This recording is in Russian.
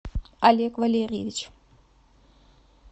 олег валерьевич